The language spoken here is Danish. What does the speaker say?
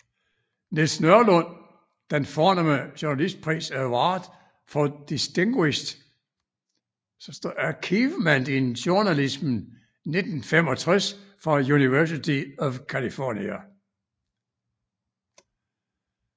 Niels Nørlund den fornemme journalistpris Award For Distinguished Achievement in Journalism 1965 fra University of California